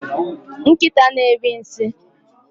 nkịta na-eri nsị